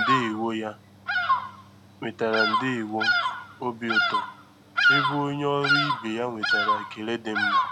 Enyi ya nwetara “ndewo" ya nwetara “ndewo" obi ụtọ, ebe onye ọrụ ibe ya nwetara ekele dị mma.